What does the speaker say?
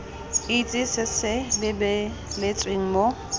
itse se se lebeletsweng mo